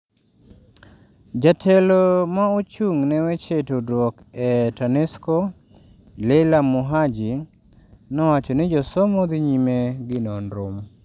jatelo ma ochung' ne weche tudruok e Tanesco, Leila Muhaji, nowacho ni josomo dhi nyime gi nonro